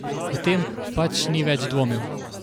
O tem pač ni več dvomil.